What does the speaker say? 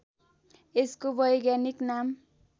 यसको वैज्ञानिक नाम